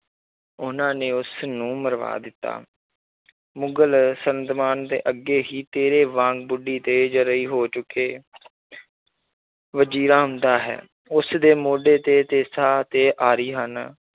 ਉਹਨਾਂ ਨੇ ਉਸ ਨੂੰ ਮਰਵਾ ਦਿੱਤਾ ਮੁਗ਼ਲ ਸਲਤਨਤ ਦੇ ਅੱਗੇ ਹੀ ਤੇਰੇ ਵਾਂਗ ਹੋ ਚੁੱਕੇ ਵਜ਼ੀਰਾ ਆਉਂਦਾ ਹੈ, ਉਸਦੇ ਮੋਢੇ ਤੇ ਤੇਸਾ ਤੇ ਆਰੀ ਹਨ